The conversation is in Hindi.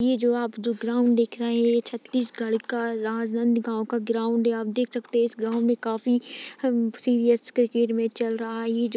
ये जो आप जो ग्राउन्ड देख रहे है ये छतीसगढ़ का राजनन्द गाँव का ग्राउन्ड है आप देख सकते है इस ग्राउन्ड मे काफी सीरीअस क्रिकेट मैच चल रहा है। ये जो --